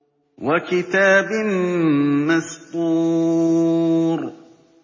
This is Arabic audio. وَكِتَابٍ مَّسْطُورٍ